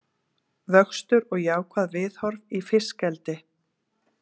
Vöxtur og jákvæð viðhorf í fiskeldi